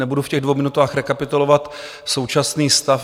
Nebudu v těch dvou minutách rekapitulovat současný stav.